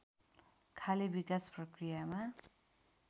खाले विकास प्रक्रियामा